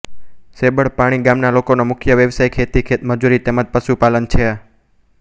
સેંબળપાણી ગામના લોકોનો મુખ્ય વ્યવસાય ખેતી ખેતમજૂરી તેમ જ પશુપાલન છે